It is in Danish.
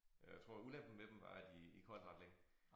Øh jeg tror ulempen ved dem var at de ikke holdt ret længe